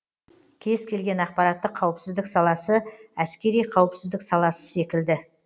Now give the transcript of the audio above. кез келген ақпараттық қауіпсіздік саласы әскери қауіпсіздік саласы секілді